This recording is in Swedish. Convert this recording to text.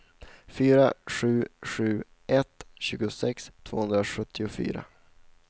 fyra sju sju ett tjugosex tvåhundrasjuttiofyra